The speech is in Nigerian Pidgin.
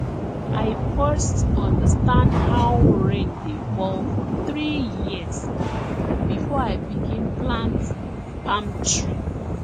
i first understand how rain dey fall for three years before i begin plant palm tree